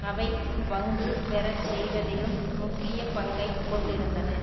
அவை பங்கு பெற செய்வதிலும் முக்கிய பங்கை கொண்டிருந்தன